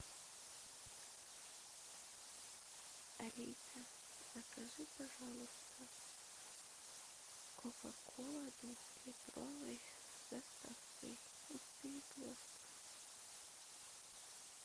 алиса закажи пожалуйста кока кола двухлитровая с доставкой из перекрестка